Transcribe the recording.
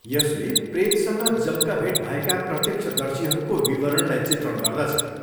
यसले प्रेतसँग जम्काभेट भएका प्रत्यक्षदर्शीहरूको विवरणलाई चित्रण गर्दछ।